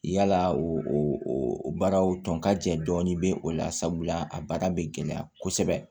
Yala o baaraw tɔn ka jɛ dɔɔnin bɛ o la sabula a baara bɛ gɛlɛya kosɛbɛ